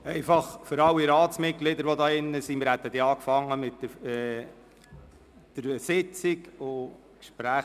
An alle Ratsmitglieder, die in diesem Saal sind: Wir hätten eigentlich mit der Sitzung begonnen.